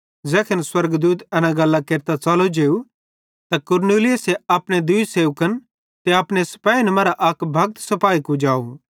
ज़ैखन स्वर्गदूत एना गल्लां केरतां च़लो जेव त कुरनेलियुस अपने दूई सेवकन ते अपने सिपेहिन मरां अक भक्त सिपाही कुजाव